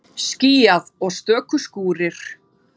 Skýjað og stöku skúrir